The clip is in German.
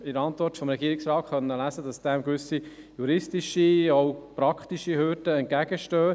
In der Antwort des Regierungsrates konnten wir nun lesen, dass diesem Vorgehen gewisse praktische und juristische Hürden entgegenstehen.